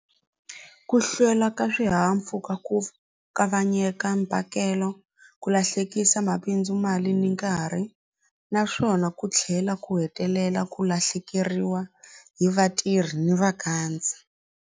Ku hlwela ka swihahampfhuka ku kavanyeka mpakelo ku lahlekisa mabindzu mali ni nkarhi naswona ku tlhela ku hetelela ku lahlekeriwa hi vatirhi ni .